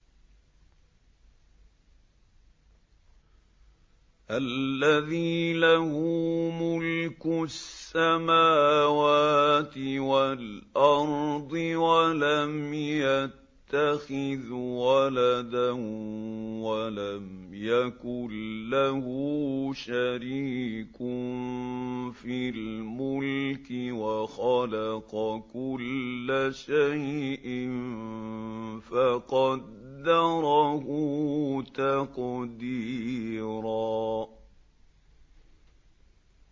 الَّذِي لَهُ مُلْكُ السَّمَاوَاتِ وَالْأَرْضِ وَلَمْ يَتَّخِذْ وَلَدًا وَلَمْ يَكُن لَّهُ شَرِيكٌ فِي الْمُلْكِ وَخَلَقَ كُلَّ شَيْءٍ فَقَدَّرَهُ تَقْدِيرًا